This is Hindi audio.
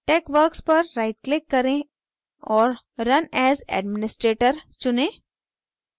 texworks पर right click करें और run as administrator चुनें